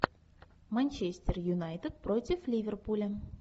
манчестер юнайтед против ливерпуля